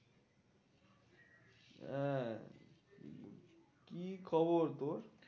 আহ কি খবর তোর?